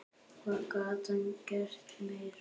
Hvað gat hann gert meira?